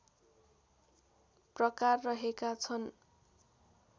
प्रकार रहेका छन्